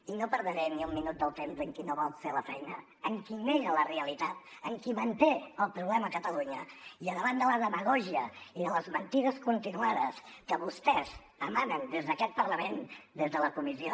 i no perdré ni un minut del temps amb qui no vol fer la feina amb qui nega la realitat amb qui manté el problema a catalunya i davant de la demagògia i de les mentides continuades que vostès emanen des d’aquest parlament des de la comissió